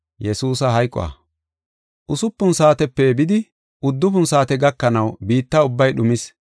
Usupun saatepe bidi, uddufun saate gakanaw biitta ubbay dhumis.